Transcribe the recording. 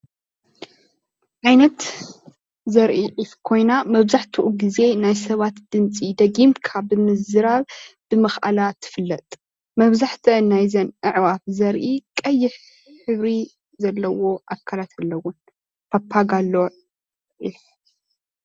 ዓይነት ዘርኢ ዒፍ ኾይና መብዛሕትኡ ግዜ ናይ ሰባት ድምፂ ደጊካ ብምዝራብ ብምኽኣላ ትፍለጥ። መብዛሕተአን ናይዘን ኣዕዋፍ ዘሪኢ ቀይሕ ሕብሪ ዘለዎ ኣካላት ኣለወን ፓፓጋ ኣለወን።